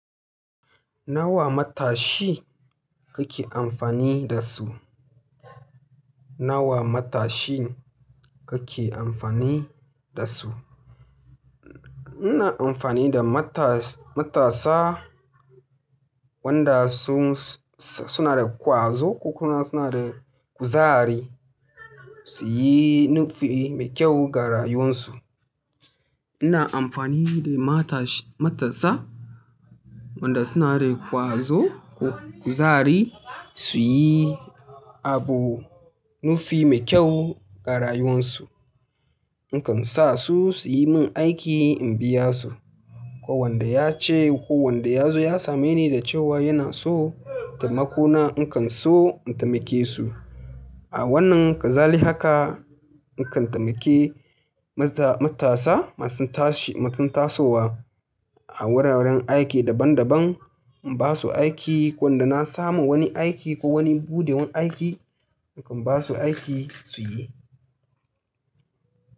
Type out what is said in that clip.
Nawa matashi kake amfani da su? Nawa matashin kake amfani da su? Ina amfani da mata matasa wanda sun suna da ƙwazo ko kuma suna da kuzari su yi nufi mai kyau ga rayuwarsu. Ina amfani da mata matasa wanda suna da ƙwazo ko kuzari su yi abu nufi mai kyau ga rayuwarsu. In kan sa su su yi min aiki in biya su. Ko wanda ya ce ko wanda ya zo ya same ni da cewa yana so taimako na, in kan so in taimake su. A wannan kazali haka in kan taimake mata matasa masu tashi masu tasowa a wuraren aiki daban daban in ba su aiki. Wanda na samu wani aiki ko wani buɗewar aiki, in kan ba su aiki su yi.